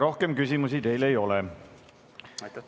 Rohkem küsimusi teile ei ole.